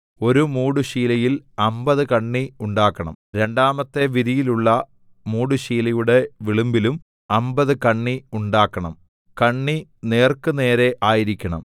ഒരു മൂടുശീലയിൽ അമ്പത് കണ്ണി ഉണ്ടാക്കണം രണ്ടാമത്തെ വിരിയിലുള്ള മൂടുശീലയുടെ വിളുമ്പിലും അമ്പത് കണ്ണി ഉണ്ടാക്കണം കണ്ണി നേർക്കുനേരെ ആയിരിക്കണം